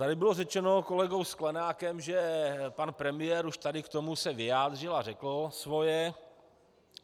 Tady bylo řečeno kolegou Sklenákem, že pan premiér už tady k tomu se vyjádřil a řekl svoje.